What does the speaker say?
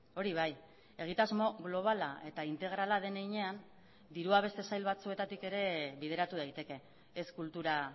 hori bai egitasmo globala eta integrala den heinean dirua beste sail batzuetatik ere bideratu daiteke ez kultura